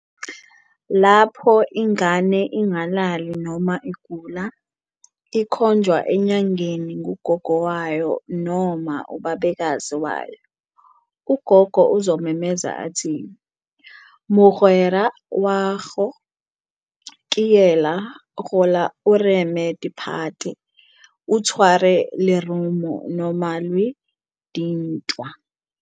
Lapho ingane ingalali noma igula, ikhonjwa enyangeni ngugogo wayo noma ubabekazi wayo. Ugogo uzomemeza athi- "mogwera wa go ke yela, gola o reme diphate, o tshware lerumo noma lwe dintwa!"